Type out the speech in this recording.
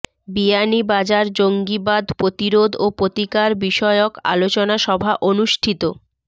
বিয়ানীবাজার জঙ্গিবাদ প্রতিরোধ ও প্রতিকার বিষয়ক আলোচনা সভা অনুষ্ঠিত